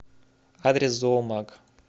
адрес зоомаг